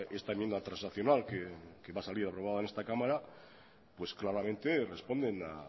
esta enmienda transaccional que va a salir aprobada en esta cámara pues claramente responden a